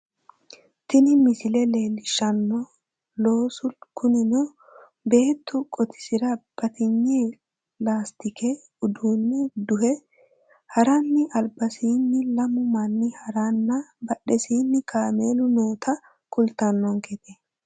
Tini misile looso leellishanno loosu kunino beettu qotisira batinye laastikete uduunne duhe haranna albasiinni lamu manni haranna badhesiinni kameelu noota kultannonkete